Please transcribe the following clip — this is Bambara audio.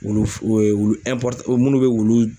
Wulu fu wulu munnu bɛ wulu